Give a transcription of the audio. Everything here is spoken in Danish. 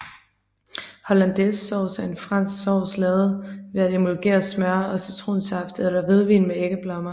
Hollandaisesauce er en fransk sovs lavet ved at emulgere smør og citronsaft eller hvidvin med æggeblommer